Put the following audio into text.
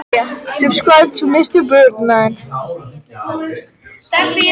Krister, hvaða leikir eru í kvöld?